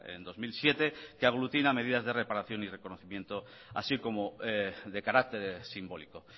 en dos mil siete que aglutina medidas de reparación y reconocimiento así como de carácter simbólico